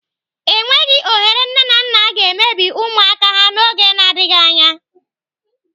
Enweghị ohere nne na nna ga-emebi ụmụaka ha n'oge n'adịghị anya.